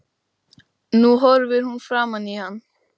Nú horfir hún framan í hann.